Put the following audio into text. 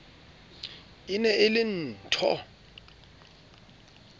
e ne e le nthho